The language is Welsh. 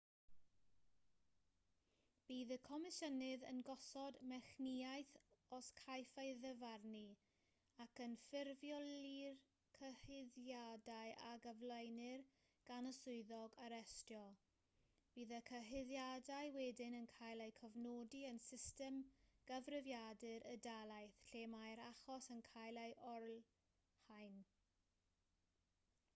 bydd y comisiynydd yn gosod mechnïaeth os caiff ei ddyfarnu ac yn ffurfioli'r cyhuddiadau a gyflwynir gan y swyddog arestio bydd y cyhuddiadau wedyn yn cael eu cofnodi yn system gyfrifiadur y dalaith lle mae'r achos yn cael ei olrhain